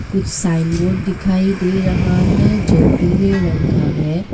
कुछ sign board डिखाई डे रहा है जो पीले रंग का है।